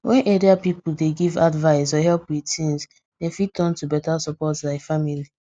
wen area people dey give advice or help with things dem fit turn to beta support like family